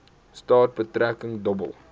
straat betreding dobbel